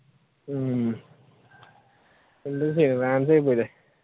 ഉം എന്തുചെയ്യാൻ fans ആയിപ്പോയില്ലേ